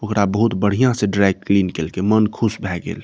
ओकरा बहुत बढ़िया से ड्राई क्लीन केएल के मन खुश भए गेल।